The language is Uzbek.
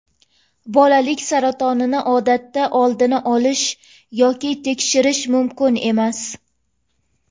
Bolalik saratonini odatda oldini olish yoki tekshirish mumkin emas.